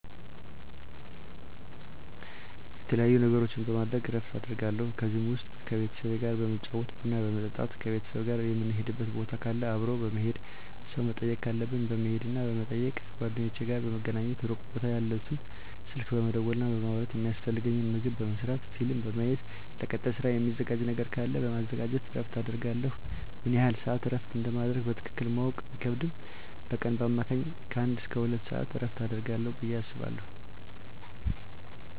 የተለያዩ ነገሮችን በማድረግ እረፍት አደርጋለሁ ከነዚህም ውስጥ ከቤተሰብ ጋር በመጫወት ቡና በመጠጣት ከቤተሰብ ጋር ምንሄድበት ቦታ ካለ አብሮ በመሄድ ሰው መጠየቅ ካለብን በመሄድና በመጠየቅ ከጓደኞቼ ጋር በመገናኘትና ሩቅ ቦታ ያሉትን ስልክ በመደወልና በማውራት የሚያስፈልገኝን ምግብ በመስራት ፊልም በማየት ለቀጣይ ስራ ሚዘጋጅ ነገር ካለ በማዘጋጀት እረፍት አደርጋለሁ። ምን ያህል ስዓት እረፍት እንደማደርግ በትክክል ማወቅ ቢከብድም በቀን በአማካኝ ከአንድ እስከ ሁለት ሰዓት እረፍት አደርጋለሁ ብየ አስባለሁ።